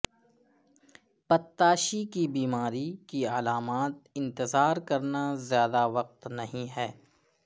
پتتاشی کی بیماری کی علامات انتظار کرنا زیادہ وقت نہیں ہے